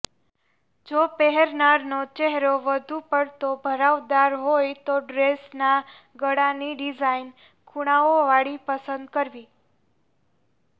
જો પહેરનારનો ચહેરો વધુ પડતો ભરાવદાર હોય તો ડ્રેસના ગળાની ડિઝાઈન ખૂણાઓવાળી પસંદ કરવી